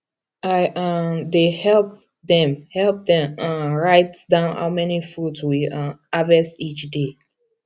i um dey help dem help dem um write down how many fruit we um harvest each day